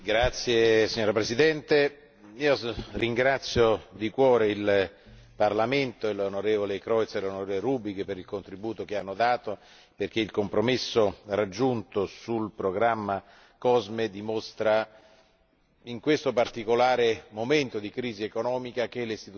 Signora Presidente, ringrazio di cuore il Parlamento e gli onorevoli Creutzmann e Rübig per il contributo che hanno dato, perché il compromesso raggiunto sul programma COSME dimostra, in questo particolare momento di crisi economica, che le Istituzioni